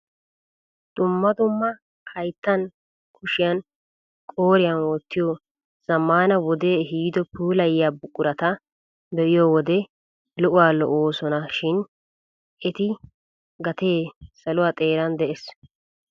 Dumma dumma hayttaan kushiyaan qooriyaan wottiyoo zammaana wodee eehido puulayiyaa buqurata be'iyo wode lo"uwaa lo"oosona shin etu gatee saluwaa xeran de'ees!